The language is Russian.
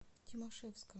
тимашевска